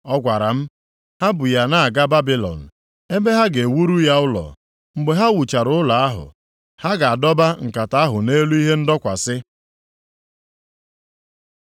Ọ gwara m, “Ha bu ya na-aga Babilọn + 5:11 Ya bụ, Shaịna ebe ha ga-ewuru ya ụlọ. Mgbe ha wuchara ụlọ ahụ, ha ga-adọba nkata ahụ nʼelu ihe ndọkwasị.”